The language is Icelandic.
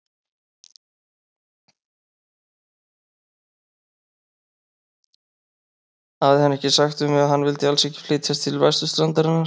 Hafði hann ekki sagt við mig, að hann vildi alls ekki flytjast til vesturstrandarinnar?